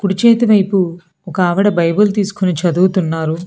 కుడి చేతివైపు ఒక ఆవిడ బైబుల్ తీసుకుని చదువుతున్నారు.